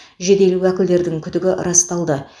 жедел уәкілдердің күдігі расталды